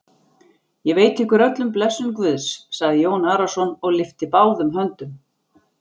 Ég veiti ykkur öllum blessun Guðs, sagði Jón Arason og lyfti báðum höndum.